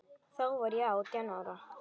Þá var ég átján ára.